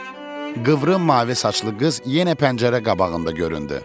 Qıvrım mavi saçlı qız yenə pəncərə qabağında göründü.